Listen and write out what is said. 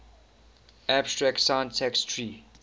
abstract syntax tree